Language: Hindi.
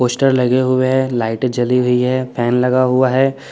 पोस्टर लहे हुए है लाइटे जली हुई है फेन लगा हुआ है।